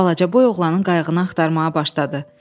Balacaboy oğlanın qayığını axtarmağa başladı.